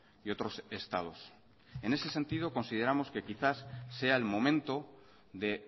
y otros estados en ese sentido consideramos que quizás sea el momento de